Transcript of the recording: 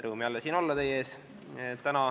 Rõõm jälle siin teie ees olla.